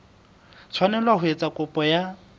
tshwanela ho etsa kopo ya